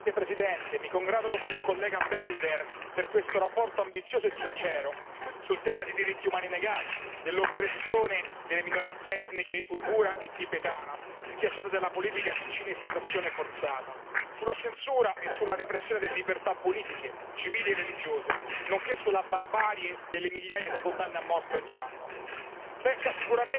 Signor Presidente, onorevoli colleghi, mi congratulo con l'onorevole Belder per questa relazione ambiziosa e sincera sul tema dei diritti umani negati, dell'oppressione delle minoranze etniche uigura e tibetana, schiacciate dalla politica di cinesizzazione forzata, sulla censura e sulla repressione delle libertà politiche, civili e religiose, nonché sulla barbarie delle migliaia di condanne a morte ogni anno. La